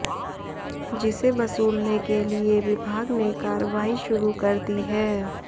जिसे वसूलने के लिए विभाग ने कार्रवाई शुरू कर दी है